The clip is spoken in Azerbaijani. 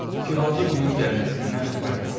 İki bacı bunun gəlməsindən xəbərdar oldu.